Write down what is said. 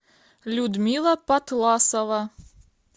людмила патласова